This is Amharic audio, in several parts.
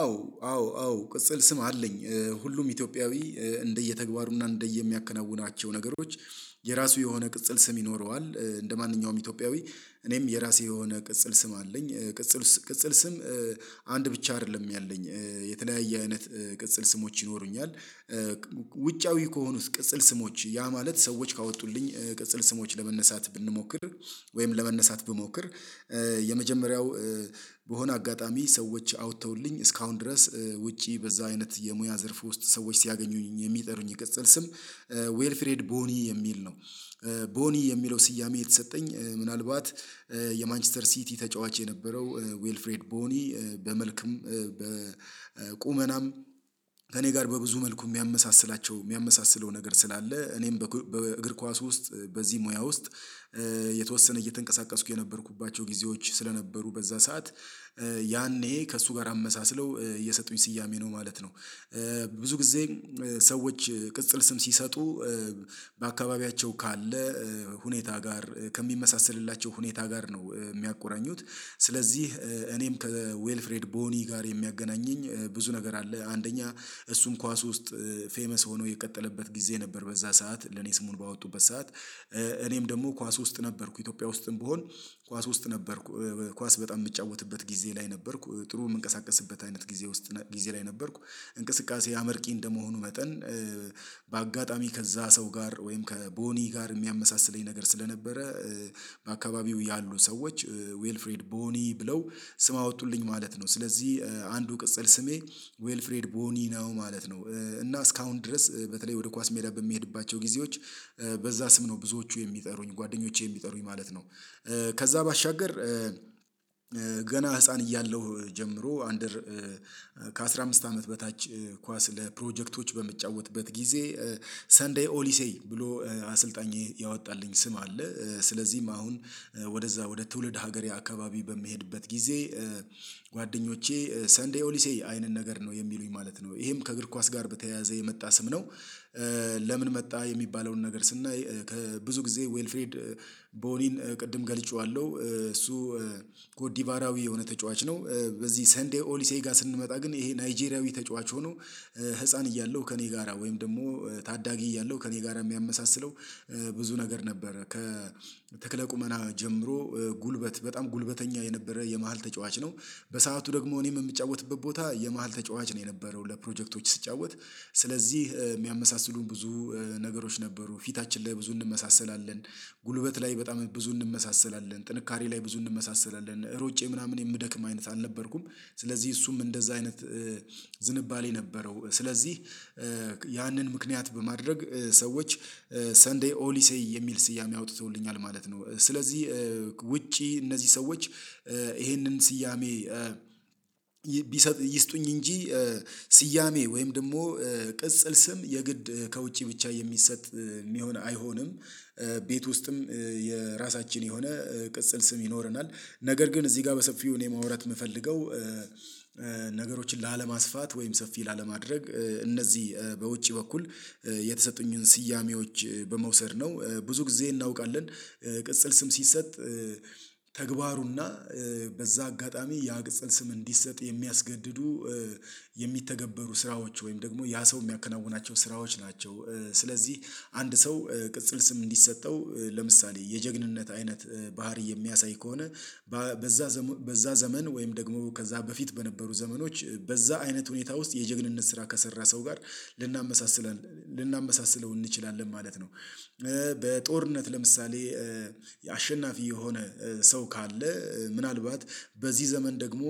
አዎ አዎ አዎ ቅጽል ስም አለኝ ሁሉም ኢትዮጵያዊ እንደየተግባሩና እንደየሚያከናውናቸው ነገሮች። የራሱ የሆነ ቅጽል ስም ይኖረዋል። እንደማንኛውም ኢትዮጵያዊ እኔም የራሱ የሆነ ቅጽል ስም አለኝ ቅጽል ቅጽል ስም። አንድ ብቻ አይደለም ያለኝ የተለያየ አይነት ቅጽል ስሞች ይኖሩኛል። ውጫዊ ከሆኑት ቅጽል ስሞች ያ ማለት ሰዎች ካወጡልኝ ቅጽል ስሞች ለመነሳት ብንሞክር ወይም ለመነሳት ብሞክር። የመጀመሪያው በሆነ አጋጣሚ ሰዎች አውጥተውልኝ እስካሁን ድረስ ውጪ በዛ አይነት የሙያ ዘርፍ ውስጥ ሰዎች ሲያገኙኝ የሚጠሩኝ የቅጽል ስም ዌልፍሬድ ቦኒ የሚል ነው። ቦኒ የሚለው ስያሜ የተሰጠኝ ምናልባት የማንችስተር ሲቲ ተጫዋች የነበረው ዌልፍሬድ ቦኒ በመልክም በቁመናም ከእኔ ጋር በብዙ መልኩ የሚያመሳስላቸው የሚያመሳስለው ነገር ስላለ እኔም በእግር ኳስ ውስጥ በዚህ ሙያ ውስጥ። የተወሰነ እየተንቀሳቀስኩ የነበርኩባቸው ጊዜዎች ስለነበሩ በዛ ሰዓት ያኔ ከእሱ ጋር አመሳስለው የሰጡኝ ስያሜ ነው ማለት ነው። ብዙ ጊዜ ሰዎች ቅጽል ስም ሲሰጡ በአካባቢያቸው ካለ ሁኔታ ጋር ከሚመሳሰልላቸው ሁኔታ ጋር ነው የሚያቆራኙት ስለዚህ እኔም ከዌልፍሬድ ቦኒ ጋር የሚያገናኘኝ ብዙ ነገር አለ። አንደኛ እሱን ኳስ ውስጥ ፌመስ ሆኖ የቀጠለበት ጊዜ ነበር በዛ ሰዓት ለኔ ስሙን ባወጡበት ሰዓት እኔም ደግሞ ኳስ ውስጥ ነበርኩ ኢትዮጵያ ውስጥም ብሆን ኳስ ውስጥ ነበርኩ ኳስ በጣም የምጫወትበት ጊዜ ላይ ነበርኩ ጥሩ የምንቀሳቀስበት አይነት ጊዜ ውስጥ ጊዜ ላይ ነበርኩ። እንቅስቃሴ አመርቂ እንደመሆኑ መጠን በአጋጣሚ ከዛ ሰው ጋር ወይም ከቦኒ ጋር የሚያመሳስለኝ ነገር ስለነበረ በአካባቢው ያሉ ሰዎች ዌልፍሪድ ቦኒ ብለው ስም አወጡልኝ ማለት ነው። ስለዚህ አንዱ ቅጽል ስሜ ዌልፍሬድ ቦኒ ነው ማለት ነው። እና እስካሁን ድረስ በተለይ ወደ ኳስ ሜዳ በሚሄድባቸው ጊዜዎች በዛ ስም ነው ብዙዎቹ የሚጠሩኝ ጓደኞቼ የሚጠሩኝ ማለት ነው። ከዛ ባሻገር ገና ህፃን እያለሁ ጀምሮ አንደር። ከአሥራ አምስት አመት በታች ኳስ ለፕሮጀክቶች በሚጫወትበት ጊዜ ሰንዴይ ኦሊሴይ ብሎ አሰልጣኝ ያወጣልኝ ስም አለ። ስለዚህም አሁን ወደዛ ወደ ትውልድ ሀገሬ አካባቢ በሚሄድበት ጊዜ ጓደኞቼ ሰንዴይ ኦሊሴ አይነን ነገር ነው የሚሉኝ ማለት ነው ይሄም ከእግር ኳስ ጋር በተያያዘ የመጣ ስም ነው። ለምን መጣ የሚባለውን ነገር ስናይ ብዙ ጊዜ ዌልፍሬድ ቦኒን ቅድም ገልጬዋለሁ እሱ ኮዲቫራዊ የሆነ ተጫዋች ነው። በዚህ ሰንዴይ ኦሊሴ ጋር ስንመጣ ግን ይሄ ናይጄሪያዊ ተጫዋች ሆኖ ህፃን እያለሁ ከእኔ ጋራ ወይም ደግሞ ታዳጊ እያለሁ ከእኔ ጋራ የሚያመሳስለው ብዙ ነገር ነበረ ከተክለ ቁመና ጀምሮ ጉልበት በጣም ጉልበተኛ የነበረ የመሃል ተጫዋች ነው። በሰአቱ ደግሞ እኔም የምጫወትበት ቦታ የመሃል ተጫዋች ነው የነበረው ለፕሮጀክቶች ስጫወት። ስለዚህ የሚያመሳስሉን ብዙ ነገሮች ነበሩ ፊታችን ላይ ብዙ እንመሳሰላለን ጉልበት ላይ በጣም ብዙ እንመሳሰላለን ጥንካሬ ላይ ብዙ እንመሳሰላለን ሮጬ ምናምን የምደክም አይነት አልነበርኩም። ስለዚህ እሱም እንደዛ አይነት ዝንባሌ የነበረው ስለዚህ ያንን ምክንያት በማድረግ ሰዎች ሰንዴይ ኦሊ ሴይ የሚል ስያሜ አውጥተውልኛል ማለት ነው። ስለዚህ ውጪ እነዚህ ሰዎች ይሄንን ስያሜ ይስጡኝ እንጂ ስያሜ ወይም ደግሞ ቅጽል ስም የግድ ከውጪ ብቻ የሚሰጥ ሚሆን አይሆንም። ቤት ውስጥም የራሳችን የሆነ ቅጽል ስም ይኖረናል። ነገር ግን እዚህ ጋር በሰፊው እኔ ማውራት የምፈልገው። ነገሮችን ላለማስፋት ወይም ሰፊ ላለማድረግ እነዚህ በውጪ በኩል የተሰጡኝን ስያሜዎች በመውሰድ ነው ብዙ ጊዜ እናውቃለን ቅጽል ስም ሲሰጥ ተግባሩና በዛ አጋጣሚ ያ ቅጽል ስም እንዲሰጥ የሚያስገድዱ የሚተገበሩ ስራዎች ወይም ደግሞ ያ ሰው የሚያከናውናቸው ስራዎች ናቸው። ስለዚህ አንድ ሰው ቅጽል ስም እንዲሰጠው ለምሳሌ የጀግንነት አይነት ባህሪ የሚያሳይ ከሆነ በዛ በዛ ዘመን ወይም ደግሞ ከዛ በፊት በነበሩ ዘመኖች በዛ አይነት ሁኔታ ውስጥ የጀግንነት ስራ ከሰራ ሰው ጋር ልናመሳስል ልናመሳስለው እንችላለን ማለት ነው። በጦርነት ለምሳሌ አሸናፊ የሆነ ሰው ካለ ምናልባት በዚህ ዘመን ደግሞ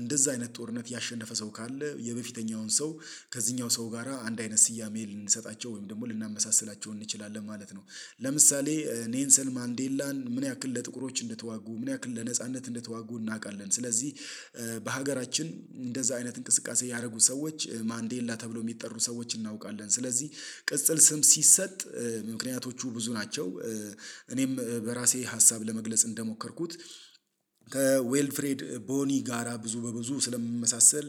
እንደዛ አይነት ጦርነት ያሸነፈ ሰው ካለ የበፊተኛውን ሰው ከዚህኛው ሰው ጋራ አንድ አይነት ስያሜ ልንሰጣቸው ወይም ደግሞ ልናመሳስላቸው እንችላለን ማለት ነው። ለምሳሌ ኔንሰን ማንዴላን ምን ያክል ለጥቁሮች እንድትዋጉ ምን ያክል ለነጻነት እንድትዋጉ እናውቃለን። ስለዚህ በሀገራችን እንደዛ አይነት እንቅስቃሴ ያደረጉ ሰዎች ማንዴላ ተብሎ የሚጠሩ ሰዎችን እናውቃለን። ስለዚህ ቅጽል ስም ሲሰጥ ምክንያቶቹ ብዙ ናቸው። እኔም በራሴ ሀሳብ ለመግለጽ እንደሞከርኩት ከዌልፍሬድ ቦኒ ጋራ ብዙ በብዙ ስለምመሳሰል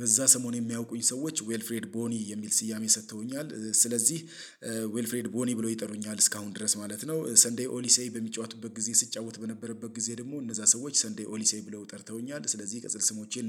በዛ ሰሞን የሚያውቁኝ ሰዎች ዌልፍሬድ ቦኒ የሚል ስያሜ ሰጥተውኛል። ስለዚህ ዌልፍሬድ ቦኒ ብሎ ይጠሩኛል እስካሁን ድረስ ማለት ነው። ሰንዴይ ኦሊሴ በሚጫወቱበት ጊዜ ስጫወት በነበረበት ጊዜ ደግሞ እነዛ ሰዎች ሰንዴይ ኦሊሴ ብለው ጠርተውኛል ስለዚህ ቅጽል ስሞቼ